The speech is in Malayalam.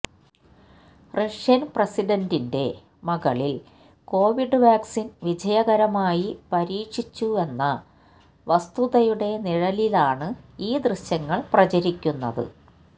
റഷ്യൻ പ്രസിഡന്റിന്റെ മകളിൽ കൊവിഡ് വാക്സിൻ വിജയകരമായി പരീക്ഷിച്ചുവെന്ന വസ്തുതയുടെ നിഴലിലാണ് ഈ ദൃശ്യങ്ങൾ പ്രചരിക്കുന്നത്